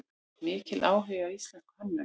Mikill áhugi á íslenskri hönnun